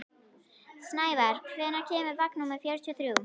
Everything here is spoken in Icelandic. Snævarr, hvenær kemur vagn númer fjörutíu og þrjú?